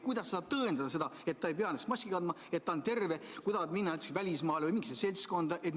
Kuidas ta saab tõendada, et ta ei peaks maski kandma, et ta on terve, kui ta tahab minna näiteks välismaale või mingisugusesse seltskonda?